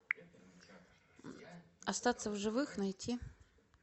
остаться в живых найти